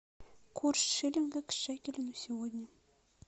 курс шиллинга к шекелю на сегодня